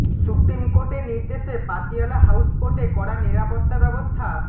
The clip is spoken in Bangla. সুপ্রিম কোর্টের নির্দেশে পাতিয়ালা হাউস কোর্টে কড়া নিরাপত্তা ব্যবস্থা